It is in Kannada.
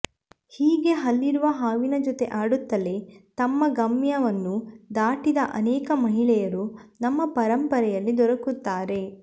ಹೀಗೆ ಹಲ್ಲಿರುವ ಹಾವಿನ ಜೊತೆ ಆಡುತ್ತಲೇ ತಮ್ಮ ಗಮ್ಯವನ್ನು ದಾಟಿದ ಅನೇಕ ಮಹಿಳೆಯರು ನಮ್ಮ ಪರಂಪರೆಯಲ್ಲಿ ದೊರಕುತ್ತಾರೆ